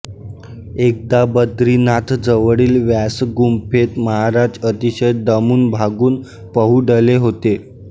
एकदा बद्रीनाथजवळील व्यासगुंफेत महाराज अतिशय दमूनभागून पहुडले होते